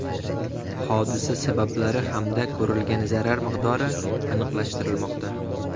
Hodisa sabablari hamda ko‘rilgan zarar miqdori aniqlashtirilmoqda.